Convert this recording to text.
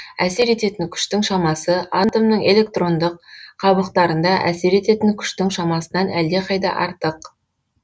әсер ететін күштің шамасы атомның электрондық қабықтарында әсер ететін күштің шамасынан әлдеқайда артық